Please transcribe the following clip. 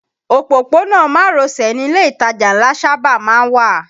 Òpópónà márosẹ̀ ni ilé ìtajà ńlá sábà má ń wà